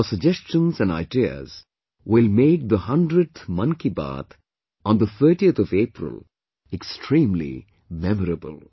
Your suggestions and ideas will make the hundredth 100th Mann Ki Baat on the 30th of April extremely memorable